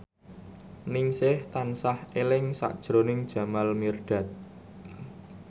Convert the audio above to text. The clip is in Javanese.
Ningsih tansah eling sakjroning Jamal Mirdad